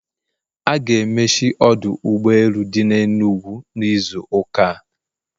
A ga-emechi ọdụ ụgbọ elu dị n'Enugwu n'izu ụka a